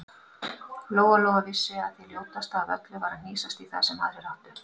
Lóa-Lóa vissi að það ljótasta af öllu var að hnýsast í það sem aðrir áttu.